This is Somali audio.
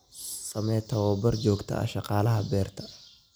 Samee tababar joogto ah shaqaalaha beerta.